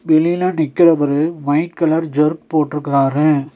வெளில நிக்குறவரு white colour ஜெர்க் போட்ருக்குறாரு.